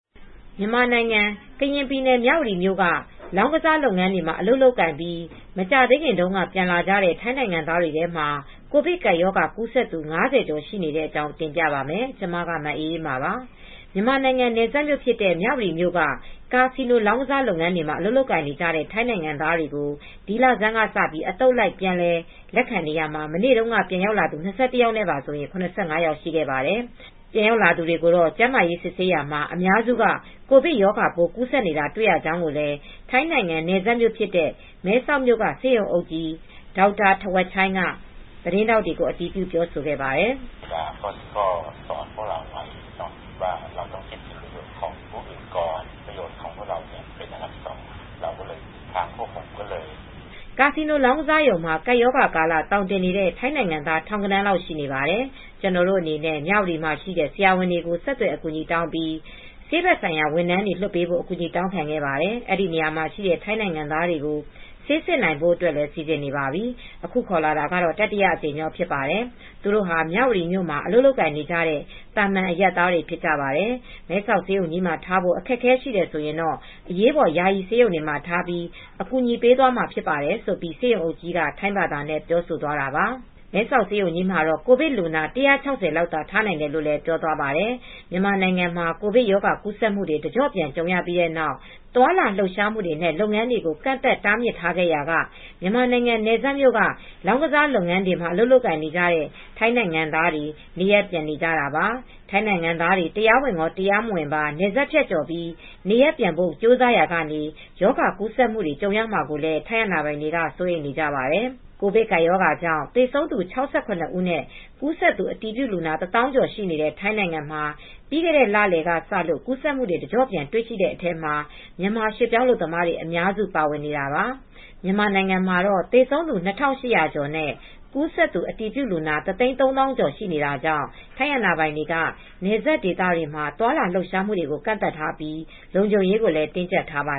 မြန်မာနိုင်ငံ ကရင်ပြည်နယ် မြဝတီမြို့က လောင်းကစားလုပ်ငန်းတွေမှာ အလုပ်လုပ်ကိုင်ပြီး မကြာသေးခင်တုန်းက ပြန်လာကြတဲ့ ထိုင်းနိုင်ငံသားတွေထဲမှာ ကိုဗစ်ကပ်ရောဂါ ကူးစက်သူ ၅၀ ကျော် ရှိနေတဲ့အကြောင်းကို ဗွီအိုအေမြန်မာပိုင်း သတင်းထောက် မအေးအေးမာက တင်ပြပါမယ်။ မြန်မာနိုင်ငံ နယ်စပ်မြို့ဖြစ်တဲ့ မြဝတီက ကာစီနိုလောင်းကစားလုပ်ငန်းတွေမှာ အလုပ်လုပ်နေတဲ့ ထိုင်းနိုင်ငံသားတွေကို ဒီလဆန်းက စပြီး အသုတ်လိုက်ခွဲ ပြန်လည်လက်ခံနေရာမှာ မနေ့က ပြန်ရောက်လာသူ ၂၁ ယောက်နဲ့ပါဆိုရင် ၇၅ ယောက်ရှိခဲ့ပါတယ်။ ပြန်ရောက်လာသူတွေကို ကျန်းမာရေးစစ်ဆေးရာမှာတော့ အများစုက ကိုဗစ်ရောဂါပိုးကူးစက်နေတာ တွေ့ရကြောင်းလည်း ထိုင်းနိုင်ငံ နယ်စပ်မြို့ဖြစ်တဲ့ မဲဆောက်မြို့က ဆေးရုံအုပ် ဆရာဝန်ကြီး Dr. Thawatchai Sethasupana က သတင်းထောက်တွေကို အတည်ပြု ပြောဆိုလိုက်ပါတယ်။ "ကာစီနိုလောင်းကစားရုံမှာ ကပ်ရောဂါကာလ သောင်တင်နေတဲ့ ထိုင်းနိုင်ငံသား ထောင်ဂဏန်းလောက် ရှိနေပါတယ်။ ကျနော်တို့အနေနဲ့ မြဝတီမြို့မှာရှိတဲ့ ဆရာဝန်တွေကို ဆက်သွယ်အကူညီတောင်းပြီး ဆေးဘက်ဆိုင်ရာ ဝန်ထမ်းတွေ လွှတ်ပေးဖို့ အကူညီတောင်းခံခဲ့ပါတယ် အဲဒီနေရာမှာရှိတဲ့ ထိုင်းနိုင်ငံသားတွေကို ဆေးစစ်နိုင်ဖို့အတွက် စီစဉ်နေပါပြီ။ အခုခေါ်လာတာ တတိယအကြိမ်ဖြစ်ပါတယ်။ သူတို့ဟာ မြဝတီမြို့မှာ အလုပ်လုပ်နေကြတဲ့ သာမန်အရပ်သားတွေ ဖြစ်ပါတယ်။ မဲဆောက်ဆေးရုံကြီးမှာ ထားဖို့ အခက်အခဲ ရှိတယ်ဆိုရင် အရေးပေါ်ယာယီဆေးရုံတွေမှာ ထားပြီး အကူညီပေးမှာဖြစ်ပါတယ်။" ဆိုပြီး ဆေးရုံအုပ်ကြီးက ထိုင်းဘာသာနဲ့ ပြောဆိုသွားတာပါ။ မဲဆောက်ဆေးရုံကြီးမှာတော့ ကိုဗစ်လူနာ ၁၆၀ လောက်သာ ထားနိုင်တယ်လို့လည်း ပြောပါတယ်။ မြန်မာနိုင်ငံမှာ ကိုဗစ်ရောဂါ ကူးစက်မှုတွေ တကျော့ပြန် ကြုံရပြီးနောက် သွားလာလှုပ်ရှားမှုတွေနဲ့ လုပ်ငန်းတွေကို ကန့်သတ်တားမြစ်ခဲ့ရာက မြန်မာနိုင်ငံ နယ်စပ်မြို့က လောင်းကစား လုပ်ငန်းတွေမှာ အလုပ်လုပ်နေတဲ့ ထိုင်းနိုင်ငံသားတွေ နေရပ်ပြန်နေကြတာပါ။ ထိုင်းနိုင်ငံသားတွေ တရားဝင်ရော၊ တရားမဝင်ပါ နယ်စပ်ဖြတ်ကျော်ပြီး နေရပ်ပြန်ဖို့ ကြိုးစားရာက ရောဂါကူးစက်မှုတွေ ကြုံရမှာကိုလည်း ထိုင်းအာဏာပိုင်တွေ စိုးရိမ်နေကြပါတယ်။ ကိုဗစ်ကပ်ရောဂါကြောင့် သေဆုံးသူ ၆၇ ဦးနဲ့ ကူးစက်သူ အတည်ပြုလူနာ ၁၀,၀၀၀ ကျော်ရှိတဲ့ ထိုင်းနိုင်ငံမှာ ပြီးခဲ့တဲ့ လလယ်က စလို့ ကူးစက်မှုတွေ တကျော့ပြန် တွေ့ရှိခဲ့တဲ့အထဲမှာ မြန်မာရွှေ့ပြောင်းအလုပ်သမားတွေ အများစုပါဝင်နေတာပါ။ မြန်မာနိုင်ငံမှာတော့ သေဆုံးသူ ၂,၈၀၀ ကျော်နဲ့ ကူးစက်သူအတည်ပြုလူနာ ၁၃၀,၀၀၀ ကျော်ရှိနေတာကြောင့် ထိုင်းအာဏာပိုင်တွေက နယ်စပ်ဒေသတွေမှာ သွားလာလှုပ်ရှားမှုတွေကို ကန့်သတ်ထားပြီး လုံခြုံရေးကိုလည်း တင်းကြပ်ထားပါ